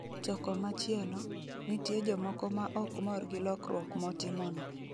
To komachielo, nitie jomoko maok mor gi lokruok motimono.